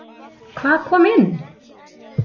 Hvað kom inn?